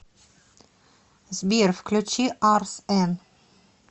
сбер включи арс эн